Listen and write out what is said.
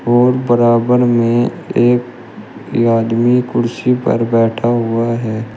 और बराबर में एक आदमी कुर्सी पर बैठा हुआ है।